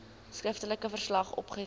skriftelike verslag opgeteken